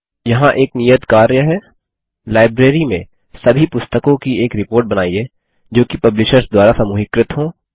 यहाँ एक नियत कार्य है लाइब्रेरी में सभी पुस्तकों की एक रिपोर्ट बनाइए जोकि पब्लिशर्स द्वारा समूहीकृत हों